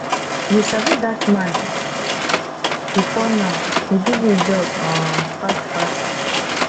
you sabi dat man before now he give you job um fast fast